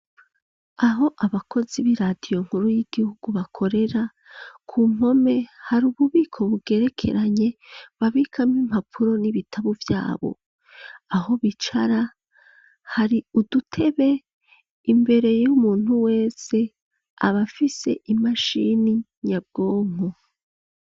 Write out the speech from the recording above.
Aho abakozi b'iradiyo nkuru y'igihugu bakorera, ku mpome hari ububiko bugerekeranye babikamwo impapuro n'ibitabo vyabo, aho bicara hari udutebe, imbere y'umuntu wese abafise imashini nyabwonko.